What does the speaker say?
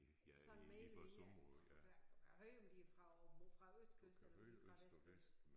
Sådan mere eller mindre du kan du kan høre om de er fra åben fra østkyst eller om de er fra vestkyst